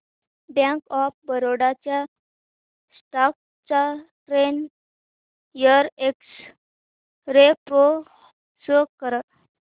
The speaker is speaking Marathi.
बँक ऑफ बरोडा च्या स्टॉक चा ten year X-ray pro show कर